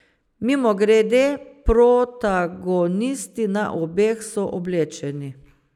Mimogrede, protagonisti na obeh so oblečeni.